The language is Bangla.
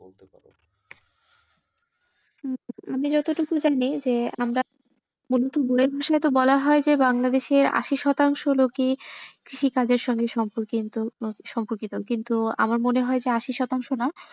আমি যতটুকু জানি যে আমরা মুলত বই এর বিষয়ে বলা যায় যে বাংলাদেশে আশি শতাংশ লোকই কৃষি কাজের সাথে সম্পর কিন্তু সম্পর্কিত কিন্তু আমার মনে হয় যে আশি শতাংশ না,